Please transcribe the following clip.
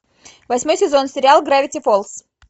восьмой сезон сериал гравити фолз